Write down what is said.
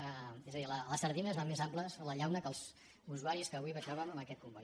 és a dir les sardines van més amples a la llauna que els usuaris que avui baixàvem en aquest comboi